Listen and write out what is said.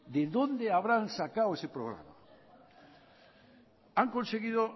de dónde habrán sacado ese programa han conseguido